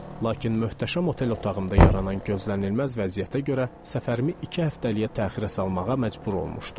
Lakin möhtəşəm otel otağımda yaranan gözlənilməz vəziyyətə görə səfərimi iki həftəliyə təxirə salmağa məcbur olmuşdum.